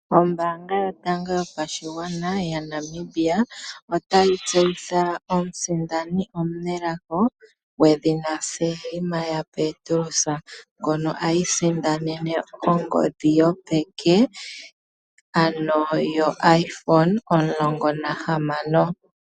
Oombanga yotango yopashigwana yaNamibia otayi tseyitha omusindani omunelago gwedhina Selma yaPetrus ngono a isindanene ongodhi yopeke ano yoiphone omulongonahamano.